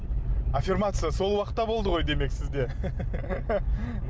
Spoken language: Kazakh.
аффирмация сол уақытта болды ғой демек сізде